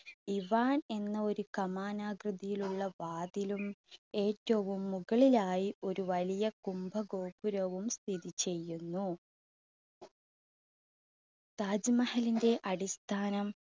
Ivan എന്ന ഒരു കമാന ആകൃതിയിലുള്ള വാതിലും, ഏറ്റവും മുകളിലായി ഒരു വലിയ കുംഭ ഗോപുരവും സ്ഥിതിചെയ്യുന്നു. താജ് മഹലിന്റെ അടിസ്ഥാനം